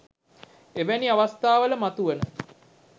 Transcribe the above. එවැනි අවස්ථාවල මතුවන